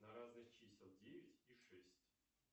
на разность чисел девять и шесть